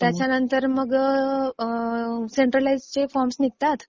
त्याच्यानंतर मग अं सेन्टरलाईज्डचे फॉर्म्स निघतात.